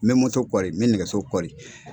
N bɛ n nɛgɛso kɔri.